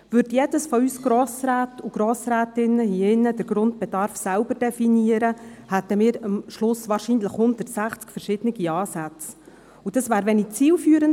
Würde jeder und jede von uns Grossräten und Grossrätinnen hier in diesem Saal den Grundbedarf selber definieren, hätten wir am Schluss wahrscheinlich 160 verschiedene Ansätze, und das wäre wenig zielführend.